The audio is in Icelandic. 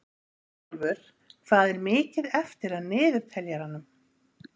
Bjarnólfur, hvað er mikið eftir af niðurteljaranum?